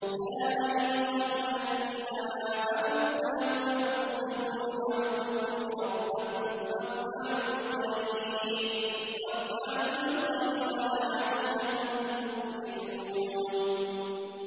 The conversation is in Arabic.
يَا أَيُّهَا الَّذِينَ آمَنُوا ارْكَعُوا وَاسْجُدُوا وَاعْبُدُوا رَبَّكُمْ وَافْعَلُوا الْخَيْرَ لَعَلَّكُمْ تُفْلِحُونَ ۩